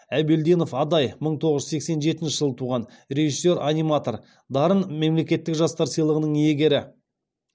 әбелдинов адай мың тоғыз жүз сексен жетінші жылы туған режиссер аниматор дарын мемлекеттік жастар сыйлығының иегері